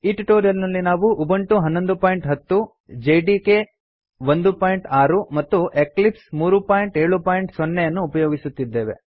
ಈ ಟ್ಯುಟೋರಿಯಲ್ ನಲ್ಲಿ ನಾವು ಉಬುಂಟು 1110 ಜೆಡಿಕೆ 16 ಮತ್ತು ಎಕ್ಲಿಪ್ಸ್ 370 ಅನ್ನು ಉಪಯೋಗಿಸುತ್ತಿದ್ದೇವೆ